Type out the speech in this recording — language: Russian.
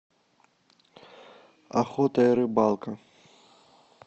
охота и рыбалка